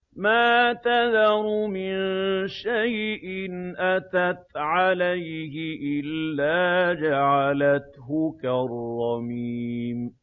مَا تَذَرُ مِن شَيْءٍ أَتَتْ عَلَيْهِ إِلَّا جَعَلَتْهُ كَالرَّمِيمِ